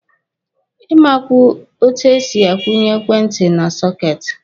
Ị makwa etu e si kwụnye ekwentị na sọketi?